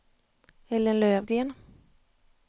Ellen Löfgren